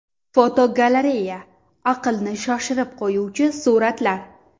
Fotogalereya: Aqlni shoshirib qo‘yuvchi suratlar.